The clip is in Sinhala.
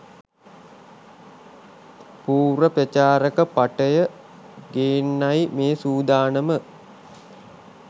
පුර්ව ප්‍රචාරක පටය ගේන්නයි මේ සුදානම.